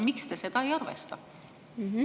Miks te seda ei arvesta?